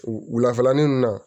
Wulafɛlanin ninnu na